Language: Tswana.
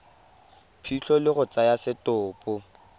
phitlho le go tsaya setopo